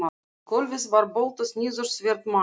Í gólfið var boltað niður svert málm